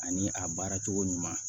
Ani a baara cogo ɲuman